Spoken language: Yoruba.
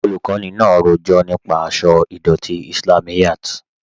Olùkọni náà rọjọ̀ nípa àṣọ̀ idọ̀tí Islámíyàt.